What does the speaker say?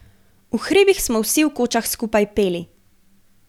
V hribih smo vsi v kočah skupaj peli.